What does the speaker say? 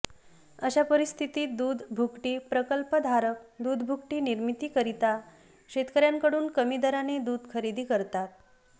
अशा परिस्थितीत दूध भुकटी प्रकल्पधारक दूध भुकटी निर्मितीकरिता शेतकऱयांकडून कमी दराने दूध खरेदी करतात